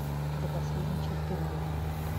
до последней черты найди